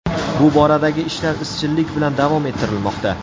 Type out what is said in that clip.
Bu boradagi ishlar izchillik bilan davom ettirilmoqda.